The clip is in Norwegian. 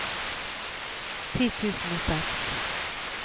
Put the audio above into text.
ti tusen og seks